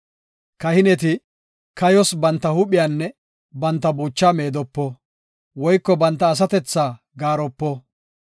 “Kahineti kayos banta huuphiyanne banta buuchaa meedopo; woyko banta asatethaa gaaropo.